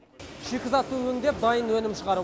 шикізатты өңдеп дайын өнім шығару